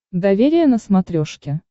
доверие на смотрешке